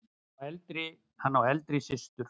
Hann á eldri systur.